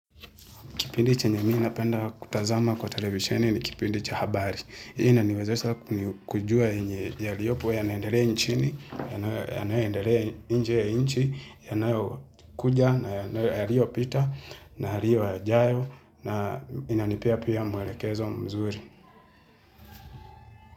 Kipindi chenye mi napenda kutazama kwa televisheni ni kipindi cha habari. Inaniwezesha kujua yenye yaliyopo yanaendelea inchini, yanayoendelea nje ya inchi, yanayo kuja, na yalio pita, na yalio yajayo, na inanipea pia mwelekezo mzuri.